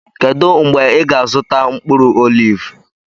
kedụ mgbe ị ga-azụta mkpụrụ oliv?